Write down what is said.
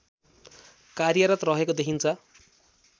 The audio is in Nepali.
कार्यरत रहेको देखिन्छ